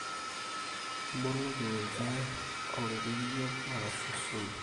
iboloki ninche oloirerrio arashu osumu